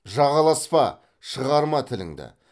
жағаласпа шығарма тіліңді